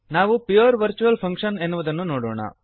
ನಾವು pure virtual function ಎನ್ನುವುದನ್ನು ನೋಡೋಣ